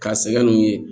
K'a sɛgɛn n'u ye